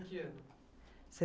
Em que ano? Se